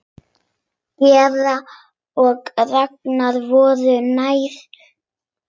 Georg og Ragnar voru nærri.